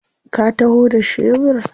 Ka taho da shebur?